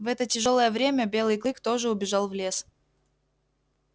в это тяжёлое время белый клык тоже убежал в лес